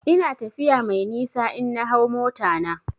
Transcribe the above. Ina tafiya mai nisa in na hau mota na.